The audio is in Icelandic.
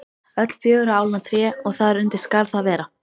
Öll fjögurra álna tré og þar undir skal það vera.